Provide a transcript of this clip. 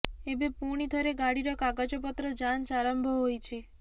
ଏବେ ପୁଣି ଥରେ ଗାଡିର କାଗଜପତ୍ର ଯାଞ୍ଚ ଆରମ୍ଭ ହୋଇଛି